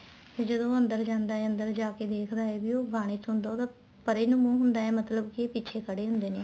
ਤੇ ਉਹ ਜਦੋਂ ਅੰਦਰ ਜਾਂਦਾ ਏ ਅੰਦਰ ਜਾਕੇ ਦੇਖਦਾ ਏ ਵੀ ਉਹ ਬਾਰੀ ਚ ਹੁੰਦਾ ਉਹਦਾ ਪਰੇ ਨੂੰ ਮੂੰਹ ਹੁੰਦਾ ਏ ਮਤਲਬ ਕੇ ਪਿੱਛੇ ਖੜੇ ਹੁੰਦੇ ਨੇ